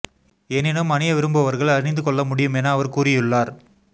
எனினும் அணிய விரும்புபவர்கள் அணிந்து கொள்ள முடியும் என அவர் கூறியுள்ளார்